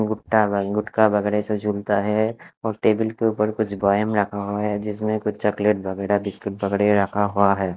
गुट्टा-गुटका वगैरह से झूलता है और टेबल के ऊपर पर कुछ गोएम वगैरह रखा हुआ है जिसमें कुछ चॉकलेट वगैरह बिस्कुट वगैरह रखा हुआ है।